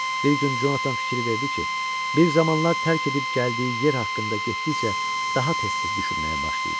Bir gün Jonathan fikir verdi ki, bir zamanlar tərk edib gəldiyi yer haqqında getdikcə daha tez-tez düşünməyə başlayıb.